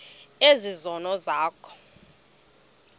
ezi zono zakho